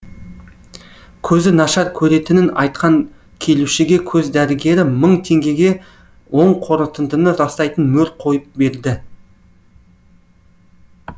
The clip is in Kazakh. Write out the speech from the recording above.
көзі нашар көретінін айтқан келушіге көз дәрігері мың теңгеге оң қорытындыны растайтын мөр қойып берді